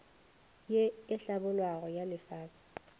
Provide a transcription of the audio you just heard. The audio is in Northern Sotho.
ye e hlabollwago ya lefase